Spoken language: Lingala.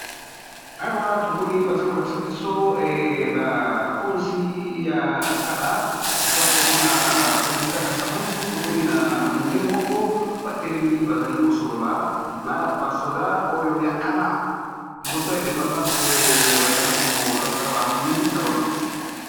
Awa tomoni baza kolakisa biso bakonzi ya kala. Tozali komona presida kasavubu tomoni na mundele moko batelemi bazali kosolola na basoda oyo ya kala liboso ya independance bazali kolakisa baminduki na bango.